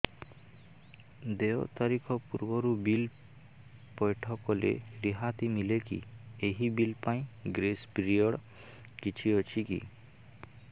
ଦେୟ ତାରିଖ ପୂର୍ବରୁ ବିଲ୍ ପୈଠ କଲେ ରିହାତି ମିଲେକି ଏହି ବିଲ୍ ପାଇଁ ଗ୍ରେସ୍ ପିରିୟଡ଼ କିଛି ଅଛିକି